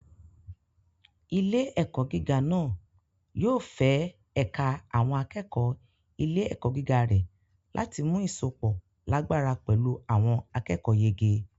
Ilé-ẹ̀kọ́ gíga náà yóò fẹ ẹ̀ka àwọn akẹ́kọ̀ọ́ ilé-ẹ̀kọ́ gíga rẹ̀ láti mú ìsopọ̀ lágbára pẹ̀lú àwọn akẹ́kọ̀ọ́yege.